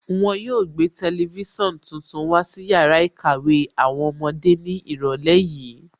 Wọn yóò gbé tẹlifísàn tuntun wá sí yàrá ìkàwé àwọn ọmọdé ní ìrọ̀lẹ́ yìí